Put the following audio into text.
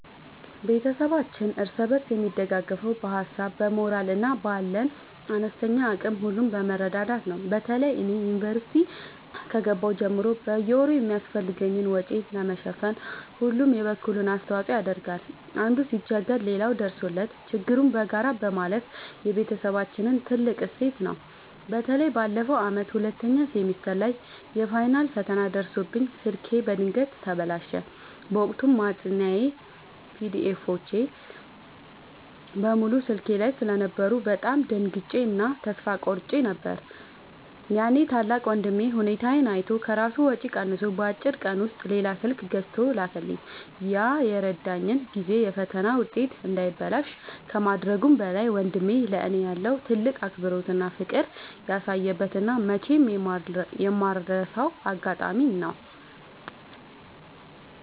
ቤተሰባችን እርስ በርስ የሚደጋገፈው በሀሳብ፣ በሞራል እና ባለን አነስተኛ አቅም ሁሉ በመረዳዳት ነው። በተለይ እኔ ዩኒቨርሲቲ ከገባሁ ጀምሮ በየወሩ የሚያስፈልገኝን ወጪ ለመሸፈን ሁሉም የበኩሉን አስተዋጽኦ ያደርጋል። አንዱ ሲቸገር ሌላው ደርሶለት ችግሩን በጋራ ማለፍ የቤተሰባችን ትልቅ እሴት ነው። በተለይ ባለፈው ዓመት ሁለተኛ ሴሚስተር ላይ የፋይናል ፈተና ደርሶብኝ ስልኬ በድንገት ተበላሸ። በወቅቱ ማጥኛ ፒዲኤፎች (PDFs) በሙሉ ስልኬ ላይ ስለነበሩ በጣም ደንግጬ እና ተስፋ ቆርጬ ነበር። ያኔ ታላቅ ወንድሜ ሁኔታዬን አይቶ ከራሱ ወጪ ቀንሶ በአጭር ቀን ውስጥ ሌላ ስልክ ገዝቶ ላከልኝ። ያ የረዳኝ ጊዜ የፈተና ውጤቴ እንዳይበላሽ ከማድረጉም በላይ፣ ወንድሜ ለእኔ ያለውን ትልቅ አክብሮትና ፍቅር ያሳየበት እና መቼም የማልረሳው አጋጣሚ ነው።